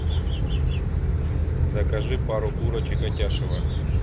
закажи пару курочек атяшево